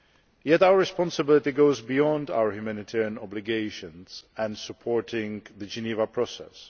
Yet our responsibility goes beyond our humanitarian obligations and supporting the Geneva process.